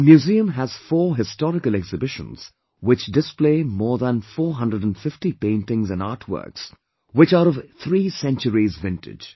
The museum has 4 historical exhibitions which display more than 450 paintings and artworks which are of three centuries vintage